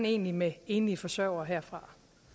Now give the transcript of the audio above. egentlig med enlige forsøgere herfra